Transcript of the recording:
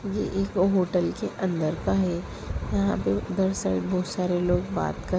ये एक होटल के अंदर का है। यहाँ बहुत बहुत सारे बहुत सारे लोग बात कर--